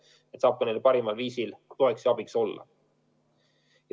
Siis ta saab neile parimal viisil toeks ja abiks olla.